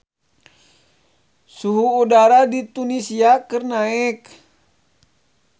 Suhu udara di Tunisia keur naek